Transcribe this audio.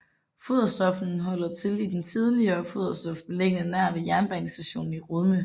Foderstoffen holder til i den tidligere foderstof beliggende nær ved jernbanestationen i Rudme